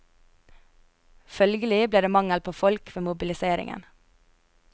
Følgelig ble det mangel på folk ved mobiliseringen.